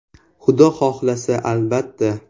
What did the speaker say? Xudo xohlasa albatta.